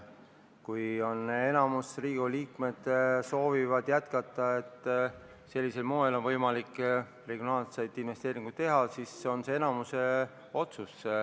Kui Riigikogu liikmete enamus soovib jätkata nii, et sellisel moel oleks võimalik regionaalseid investeeringuid teha, siis on see enamuse otsus.